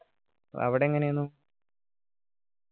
അവിടെ എങ്ങനെയെന്നു